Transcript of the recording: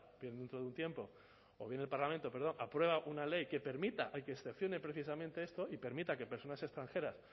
bien dentro de un tiempo o bien el parlamento perdón aprueba una ley que permita y que excepcione precisamente esto y permita que personas extranjeras